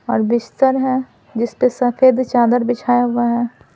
और बिस्तर है जिस पर सफेद चादर बिछाया हुआ है।